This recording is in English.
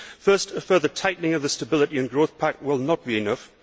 First, a further tightening of the Stability and Growth Pact will not be enough.